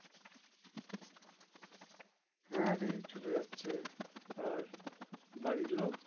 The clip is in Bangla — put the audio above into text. হ্যাঁ রে এই চলে যাচ্ছে। আর বাড়ির লোক?